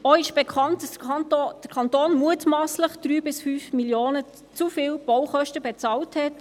Auch ist bekannt, dass der Kanton mutmasslich 3 bis 5 Mio. Franken zu viel Baukosten bezahlt hat;